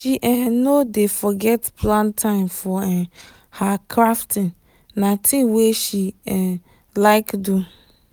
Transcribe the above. she um no dey forget plan time for um her crafting na thing wey she um like do.